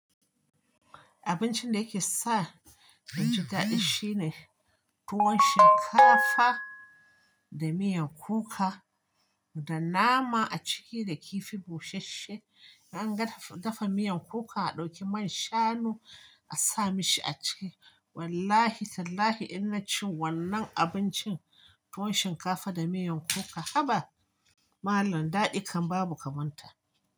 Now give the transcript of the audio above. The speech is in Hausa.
Abincin da yake sa da gida ɗin shine tuwon shinkafa da miyan kuka da nama a ciki da kifi bushashe. In an dafa miyan kuka a ɗauki man shanu a sa mashi a ciki. Wallahi tallahi ina ci wannan abincin, tuwon shinkafa da miyan kuka, haba malam daɗin kan babu kamanta.